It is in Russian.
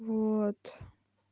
вот